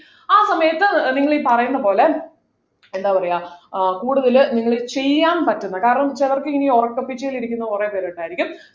ആ സമയത്ത് ഏർ നിങ്ങളീ പറയുന്ന പോലെ എന്താ പറയാ ആഹ് കൂടുതൽ നിങ്ങൾ ചെയ്യാൻ പറ്റുന്ന കാരണം ചിലർക്ക് ഈ ഉറക്കെപ്പിച്ചിലിരിക്കുന്ന കുറെ പേരുണ്ടായിരിക്കും